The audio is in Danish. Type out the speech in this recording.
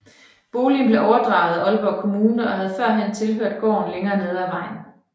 Boligen blev overdraget af Aalborg Kommune og havde førhen tilhørt gården længere nede af vejen